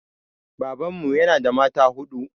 Babanmu ya na da mata huɗu